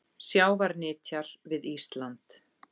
Sjávarnytjar við Ísland.